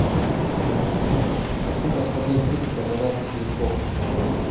хочу посмотреть фильм пожиратель грехов